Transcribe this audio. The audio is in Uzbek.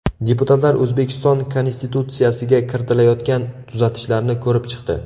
Deputatlar O‘zbekiston Konstitutsiyasiga kiritilayotgan tuzatishlarni ko‘rib chiqdi.